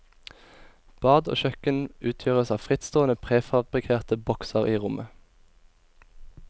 Bad og kjøkken utgjøres av frittstående prefabrikerte bokser i rommet.